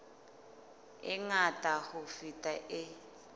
e ngata ho feta e